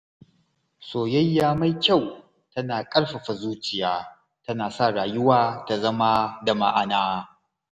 Soyayya mai kyau tana ƙarfafa zuciya, tana sa rayuwa ta zama da ma’ana.